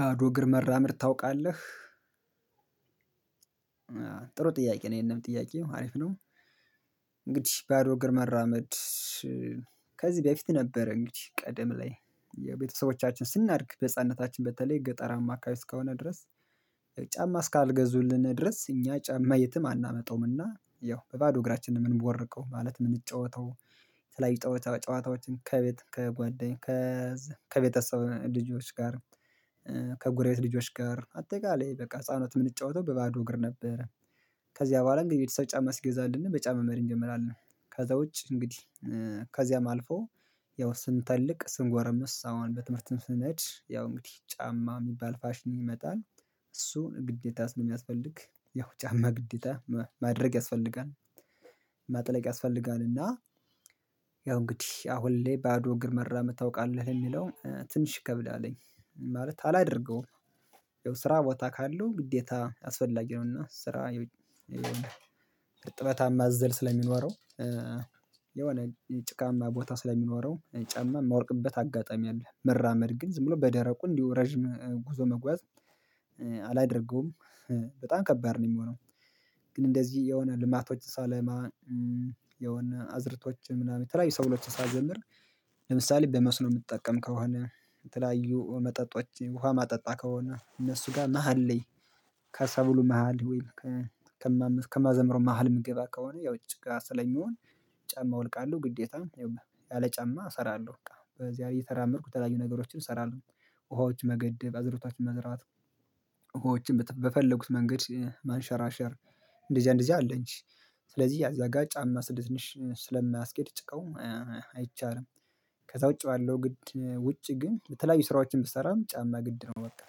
ባዶ እግር መራመድ ታውቃለህ ጥሩ ጥያቄ ነው ይሄንም ጥያቄ አሪፍ ነው። እንግዲህ ባዶ እግር መራመድ። ከዚህ በፊት ነበረ እንግዲህ ቀደም ላይ የቤተሰቦቻችን ስናድግ በህፃንነታችን በተለይ ገጠራማ አከባቢ እስከሆነ ድረስ። ጫማ እስካልገዙልን ድረስ እኛ ጫማ የትም አናመጣውምና ያው በባዶ እግራችንን ምንቦርቀው ማለት ምንጫወተው። የተለያዩ ጨዋታዎችን ከቤት ከጓደኛ ከቤተሰብ ልጆች ጋር ከጎረቤት ልጆች ጋር አጠቃላይ በቃ ህፃናት የምንጫወተው በባዶ እግር ነበረ። ከዚያ በኋላ እንግዲህ የቤተሰብ ጫማ ሲገዛልን በጫማ መሄድ እንጀምራለን። ከዛ ውጭ እንግዲህ ከዚያም አልፎ ያው ስንተልቅ ስንጓረምስ አሁን በትምህርት ስንሄድ ያው እንግዲህ ጫማ የሚባል ፋሽን ይመጣል። እሱን ግዴታ ስለሚያስፈልግ ያው ጫማ ግዴታ ማድረግ ያስፈልጋል። ማጥለቅ ያስፈልጋል እና ያው እንግዲህ አሁን ላይ ባዶ እግር መራመድ ታውቃለህ የሚለው ትንሽ ይከብዳልኝ ማለት አላደርገውም። ስራ ቦታ ካለው ግዴታ አስፈላጊ ነውና ስራ እርጥበታማ አዘል ስለሚኖረው። የሆነ ጭቃማ ቦታ ስለሚኖረው ጫማ የማልቅበት አጋጣሚ አለ። መራመድ ግን ዝም ብሎ በደረቁ እንዲሁ ረጅም ጉዞ መጓዝ አላደርገውም በጣም ከባድ ነው የሚሆነው። ግን እንደዚህ የሆነ ልማቶች ሳለማ የሆነ አዝርቶች ምናምን የተለያዩ ሰብሎችን ሳዘምር ለምሳሌ በመስኖ የምጠቀም ከሆነ የተለያዩ መጠጦች ውሃ ማጠጣ ከሆነ እነሱ ጋር መሃል ላይ። ከሰብሉ መሃል ወይም ከማዘምረው መሃል ምግባ ከሆነ ያው ጭቃ ስለሚሆን ጫማ አወልቃለሁ ግዴታ ይውና ያለ ጫማ እሰራለሁ። በቃ በዛ እየተራመድኩ የተለያዩ ነገሮችን እሰራለሁ ውሃዎች መገደብ አዝርቷችሁ መዝራት ውሃዎችን በፈለጉት መንገድ ማንሸራሸር እንደዚያ እንደዚያ አለኝ። ስለዚህ እዚያ ጋ ጫማ ትንሽ ስለማያስኬድ ጭቃው አይቻልም። ከዛ ውጪ ባለው ግድ ውጪ ግን በተለያዩ ስራዎችን ብሰራም ጫማ ግድ ነው። በቃ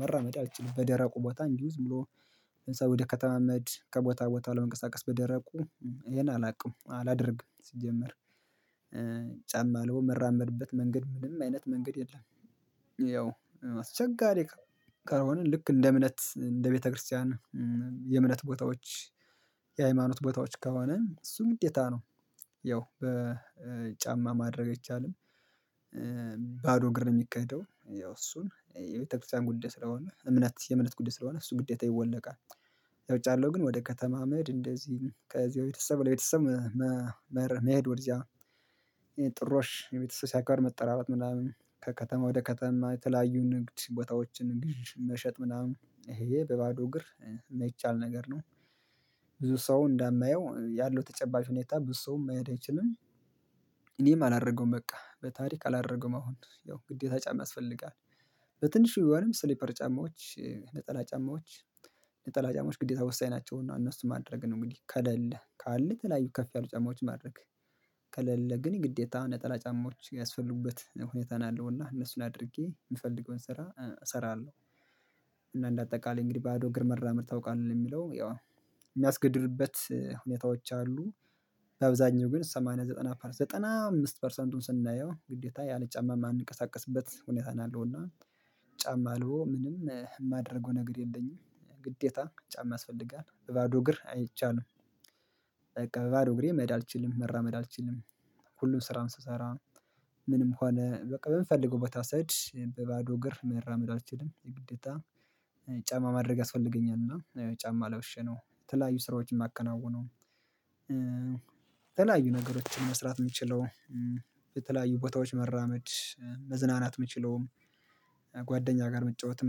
መራመድ አልችልም በደረቁ ቦታ እንዲሁ ዝም ብሎ ህንፃ ወደ ከተማመድ ከቦታ ቦታ ለመንቀሳቀስ በደረቁ ይሄን አላውቅም አላደርግም ሲጀመር ጫማ አውልቆ ምራመድበት መንገድ ምንም አይነት መንገድ የለም። ያው አስቸጋሪ ከሆነ ልክ እንደ እምነት እንደ ቤተክርስቲያን የእምነት ቦታዎች የሃይማኖት ቦታዎች ከሆነ እሱም ግዴታ ነው። ያው በጫማ ማድረግ አይቻልም። ባዶ እግር ነው የሚኬደው ያው እሱን የቤተክርስቲያን ጉዳይ ስለሆነ እምነት የእምነት ጉዳይ ስለሆነ እሱ ግዴታ ይወለቃል። ያው ውጭ ያለው ግን ወደ ከተማ አመድ እንደዚህ ከዚህ ቤተሰብ ለቤተሰብ መሄድ ወደዚያ ጥሮሽ ቤተሰብ ሲያጋጥም መጠራራት ምናምን ከከተማ ወደ ከተማ የተለያዩ ንግድ ቦታዎችን ንግድ መሸጥ ምናምን ይሄ በባዶ እግር የማይቻል ነገር ነው። ብዙ ሰው እንዳመየው ያለው ተጨባጭ ሁኔታ ብዙ ሰው መሄድ አይችልም። እኔም አላረገውም በቃ በታሪክ አላረገውም አሁን ያው ግዴታ ጫማ ያስፈልጋል። በትንሹ ወይም ስሊፐር ጫማዎች ነጠላ ጫማዎች ነጠላ ጫማዎች ግዴታ ወሳኝ ናቸውና እነሱ ማድረግ ነው እንግዲህ ከሌለ ካለ የተለያዩ ከፍ ያሉ ጫማዎች ማድረግ ከሌለ ግን ግዴታ ነጠላ ጫማዎች ያስፈልጉበት ሁኔታን አለውና እነሱን አድርጌ የምፈልገውን ስራ እሰራለሁ። እና እንደ አጠቃላይ እንግዲህ ባዶ እግር መራመድ ታውቃለህ ለሚለው የሚያስገድድበት ሁኔታዎች አሉ። በአብዛኛው ግን ሰማንያ ዘጠና ፐርሰንት ዘጠና አምስት ፐርሰንቱን ስናየው ግዴታ ያለ ጫማ የማንቀሳቀስበት ሁኔታ ነው ያለው እና ጫማ አልቦ ምንም የማደርገው ነገር የለኝም ግዴታ ጫማ ያስፈልጋል በባዶ እግር አይቻልም። በባዶ እግሬ መሄድ መራመድ አልችልም። ሁሉም ስራውን ስሰራ ምንም ሆነ በቃ በምፈልገው ቦታ ሰሄድ በባዶ እግር መራመድ አልችልም የግዴታ ጫማ ማድረግ ያስፈልገኛል እና ጫማ ለብሼ ነው የተለያዩ ስራዎችን የማከናውነው። የተለያዩ ነገሮችን መስራት የምችለው የተለያዩ ቦታዎች መራመድ መዝናናት የምችለውም ጓደኛ ጋር መጫወትም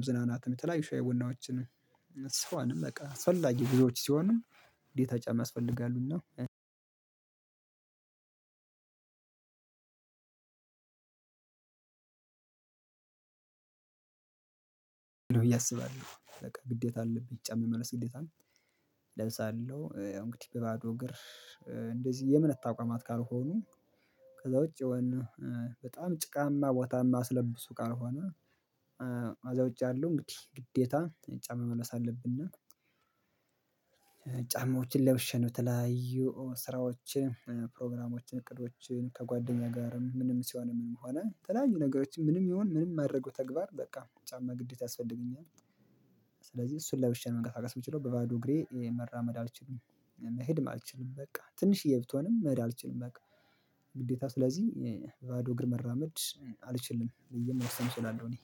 መዝናናትም የተለያዩ ሻይ ቡናዎችን በቃ አስፈላጊ ጉዙዎች ሲሆኑ ግዴታ ጫማ ያስፈልጋሉና ብዬ አስባለሁ። በቃ ግዴታ አለብኝ ጫማ የመልበስ ግዴታ እለብሳለሁ እንግዲህ በባዶ እግር እንደዚህ የእምነት ተቋማት ካልሆኑ ከዛ ውጪ የሆነ በጣም ጭቃማ ቦታማ ማያስለብሱ ካልሆነ ከዛ ውጪ ያለው እንግዲህ ግዴታ ጫማ መልበስ አለብን። እና ጫማዎችን ለብሼ ነው የተለያዩ ስራዎችን ፕሮግራሞችን እቅዶችን ከጓደኛ ጋርም ምንም ሲሆን ምንም ሆነ የተለያዩ ነገሮችን ምንም ይሁን ምንም ማደርገው ተግባር በቃ ጫማ ግዴታ ያስፈልገኛል። ስለዚህ እሱን ለብሼ ነው መንቀሳቀስ ምችለው በባዶ እግሬ መራመድ አልችልም መሄድም አልችልም በቃ ትንሽዬ ብትሆንም መሄድ አልችልም በቃ ግዴታ ስለዚህ በባዶ እግር መራመድ አልችልም ብዬ መወሰን እችላለሁ። እኔ